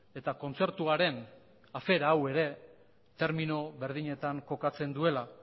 eta kontzertuaren afera hau ere termino berdinetan kokatzen duela